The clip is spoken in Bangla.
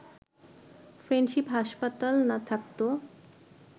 ফ্রেন্ডশিপ হাসপাতাল না থাকত